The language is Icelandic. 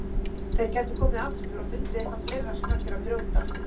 Þeir gætu komið aftur og fundið eitthvað fleira sem hægt er að brjóta.